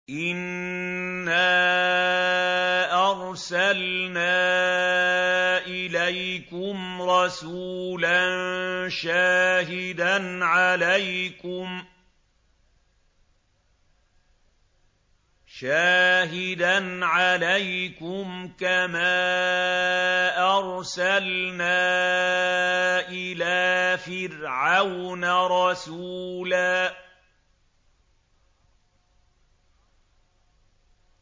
إِنَّا أَرْسَلْنَا إِلَيْكُمْ رَسُولًا شَاهِدًا عَلَيْكُمْ كَمَا أَرْسَلْنَا إِلَىٰ فِرْعَوْنَ رَسُولًا